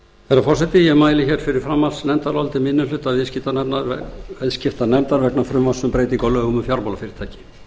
herra forseti ég mæli fyrir framhaldsnefndaráliti minni hluta viðskiptanefndar vegna frumvarps um breytingu á lögum um fjármálafyrirtæki